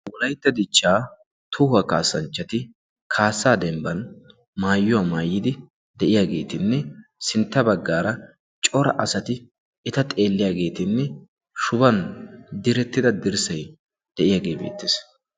wolaytta dichchaa tohuwa kaassanchchati kaassa dembban mayyuwa mayidi de'iyageetinne sintta baggaara cora asati eta xeelliyageetinne shuban direttida dirssay de'iyage beettes.